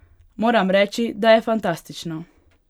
Moram reči, da je fantastično!